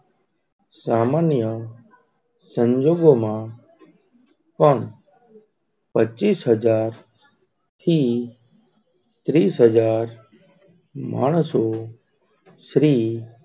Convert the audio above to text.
સામાન્ય સંજોગો માં પણ પચિસ હજર થી ત્રીસહજાર માણસો શ્રી,